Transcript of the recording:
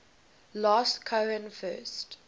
last cohen first